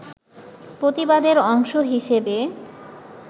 প্রতিবাদের অংশ হিসেবে